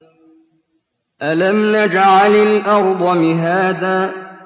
أَلَمْ نَجْعَلِ الْأَرْضَ مِهَادًا